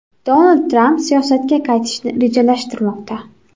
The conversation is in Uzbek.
Donald Tramp siyosatga qaytishni rejalashtirmoqda.